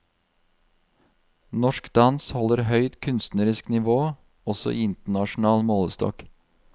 Norsk dans holder høyt kunstnerisk nivå, også i internasjonal målestokk.